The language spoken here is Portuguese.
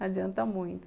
Não adianta muito.